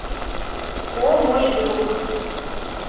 о мой друг